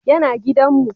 Ya na gidan mu